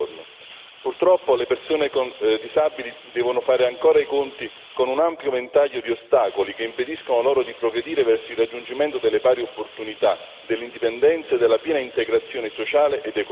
Purtroppo, le persone disabili devono fare ancora i conti con un ampio ventaglio di ostacoli che impediscono loro di progredire verso il raggiungimento delle pari opportunità, dell'indipendenza e della piena integrazione sociale ed economica.